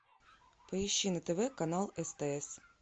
поищи на тв канал стс